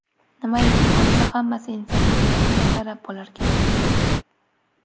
Nimaiki bo‘lsa, hammasi insonning niyatiga qarab bo‘larkan.